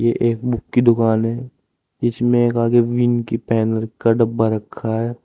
ये एक बुक की दुकान है इसमें आगे विन की पैनल का डब्बा रखा है।